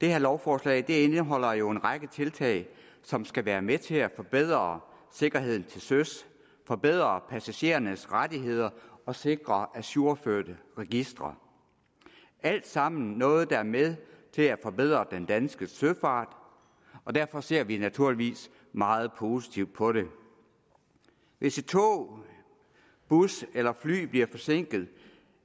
det her lovforslag indeholder jo en række tiltag som skal være med til at forbedre sikkerheden til søs forbedre passagerernes rettigheder og sikre ajourførte registre alt sammen noget der er med til at forbedre den danske søfart og derfor ser vi naturligvis meget positivt på det hvis et tog en bus eller et fly bliver forsinket